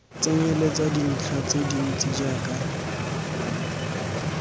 tsenyeletsa dintlha tse dintsi jaaka